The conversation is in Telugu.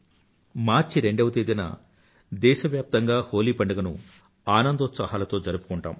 మార్చ్ రెండవ తేదీన దేశవ్యాప్తంగా హోలీ పండుగను ఆనందోత్సాహాలతో జరుపుకుంటాము